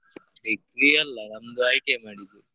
Degree ಅಲ್ಲಾ ನಂದು ITI ಮಾಡಿದ್ದು.